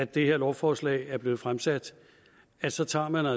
det her lovforslag er blevet fremsat altså tager